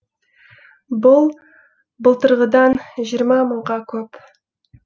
бұл былтырғыдан жиырма мыңға көп